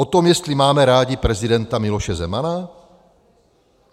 O tom, jestli máme rádi prezidenta Miloše Zemana?